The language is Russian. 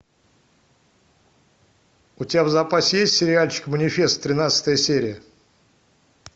у тебя в запасе есть сериальчик манифест тринадцатая серия